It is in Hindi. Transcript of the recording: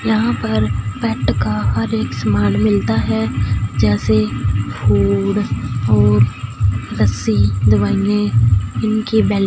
यहां पर पेट का हर एक सामान मिलता है जैसे फूड और दवाइयां --